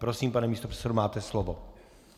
Prosím, pane místopředsedo, máte slovo.